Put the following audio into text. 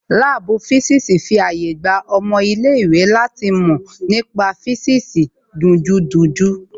Láàbù físìsì fi àyè gba ọmọ ilé ìwé láti mọ nípa físìsì dunjúdunjú